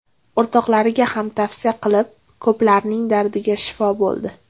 O‘rtoqlariga ham tavsiya qilib, ko‘plarning dardiga shifo bo‘ldi.